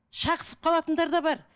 шағысып қалатындар да бар